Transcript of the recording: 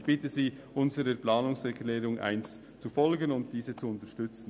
Ich bitte Sie, die Planungserklärung 1 zu unterstützen.